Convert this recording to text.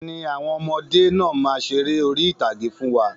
Bẹ́ẹ̀ni, àwọn ọmọdé náà má ṣeré orí ìtàgé fún wa.